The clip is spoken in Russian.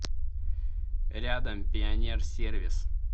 рядом пионер сервис